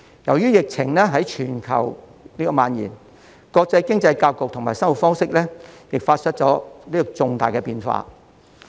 由於疫情在全球蔓延，國際經濟格局和生活方式亦發生重大的變化。